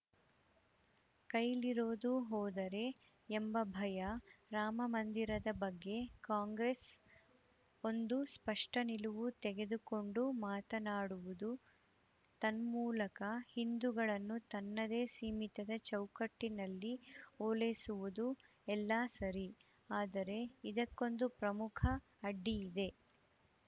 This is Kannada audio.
ಕೈಲಿರೋದೂ ಹೋದರೆ ಎಂಬ ಭಯ ರಾಮ ಮಂದಿರದ ಬಗ್ಗೆ ಕಾಂಗ್ರೆಸ್‌ ಒಂದು ಸ್ಪಷ್ಟನಿಲುವು ತೆಗೆದುಕೊಂಡು ಮಾತನಾಡುವುದು ತನ್ಮೂಲಕ ಹಿಂದುಗಳನ್ನು ತನ್ನದೇ ಸೀಮಿತ ಚೌಕಟ್ಟಿನಲ್ಲಿ ಓಲೈಸುವುದು ಎಲ್ಲ ಸರಿ ಆದರೆ ಇದಕ್ಕೊಂದು ಪ್ರಮುಖ ಅಡ್ಡಿಯಿದೆ